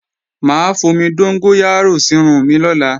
Mà á fomi dóngóyárò sírun mi lọ́la